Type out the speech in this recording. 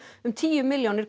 um tíu milljónir